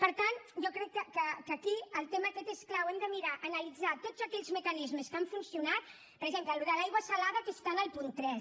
per tant jo crec que aquí el tema aquest és clau hem de mirar analitzar tots aquelles mecanismes que han funcionat per exemple l’aigua salada que està en el punt tres